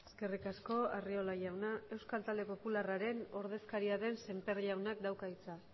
eskerrik asko arriola jauna euskal talde popularraren ordezkaria den semper jaunak dauka hitza